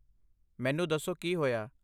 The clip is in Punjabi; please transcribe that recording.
ਮੈਨੂੰ ਦੱਸੋ ਕੀ ਹੋਇਆ।